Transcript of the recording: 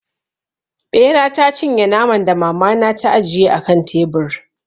Ɓera ta cinye naman da mama na ta ajiye a kan tebur.